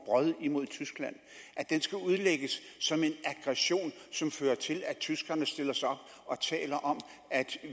brod imod tyskland skal udlægges som en aggression som fører til at tyskerne stiller sig op og taler om at